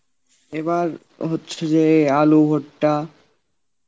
এবার হচ্ছে যে আলু, ভুট্টা